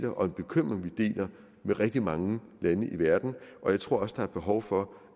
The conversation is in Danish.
og en bekymring vi deler med rigtig mange lande i verden og jeg tror også at der er behov for